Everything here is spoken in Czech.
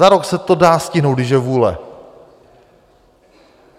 Za rok se to dá stihnout, když je vůle.